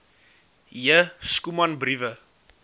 j schoeman briewe